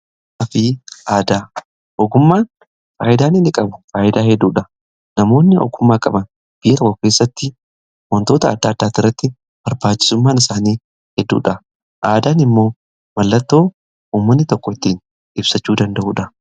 Ogummaa fi aadaa, ogummaan faayidaan inni qabu faayidaa hedduudha. Namoonni ogummaa qaban biyya tokko keessatti wantoota adda addaa iratti barbaachisummaan isaanii hedduudha. Aadaan immoo mallattoo ummanni tokko ittiin ibsachuu danda'uudha.